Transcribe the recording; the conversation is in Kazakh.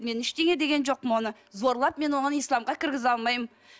мен ештеңе деген жоқпын оны зорлап мен оны исламға кіргізе алмаймын